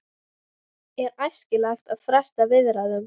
Er æskilegt að fresta viðræðum?